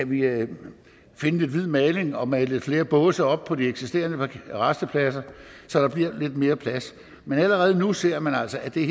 vi kan finde lidt hvid maling og male lidt flere båse op på de eksisterende rastepladser så der bliver mere plads men allerede nu ser man altså at det